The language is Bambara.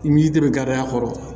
I b'i dɛmɛ gariya kɔrɔ